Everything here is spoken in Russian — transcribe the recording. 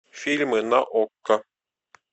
фильмы на окко